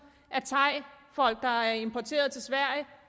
af thaifolk der er importeret til sverige